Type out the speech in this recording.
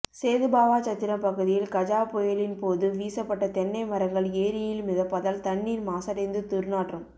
சேதுபாவாசத்திரம் பகுதியில் கஜா புயலின் போது வீசப்பட்ட தென்னை மரங்கள் ஏரியில் மிதப்பதால் தண்ணீர் மாசடைந்து துர்நாற்றம்